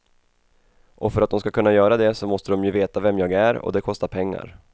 Och för att de ska kunna göra det så måste de ju veta vem jag är och det kostar pengar.